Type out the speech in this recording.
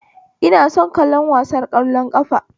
Ina son kallon wasar ƙwallon ƙafa